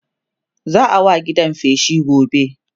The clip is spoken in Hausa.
za'a wa gidan feshi gobe